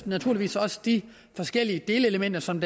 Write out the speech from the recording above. naturligvis også de forskellige delelementer som